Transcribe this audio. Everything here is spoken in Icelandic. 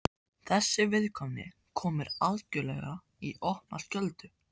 Þessi viðkvæmni kom mér algjörlega í opna skjöldu.